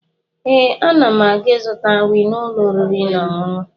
Ee, ana m aga ịzụta nri n'ụlọ oriri na ọṅụṅụ